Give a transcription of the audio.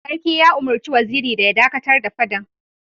Sarki ya umurci Waziri ya dakatar da fadan!